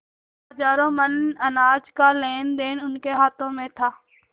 हजारों मन अनाज का लेनदेन उनके हाथ में था